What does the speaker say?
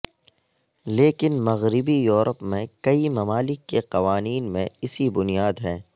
لیکن مغربی یورپ میں کئی ممالک کے قوانین میں اسی بنیاد ہیں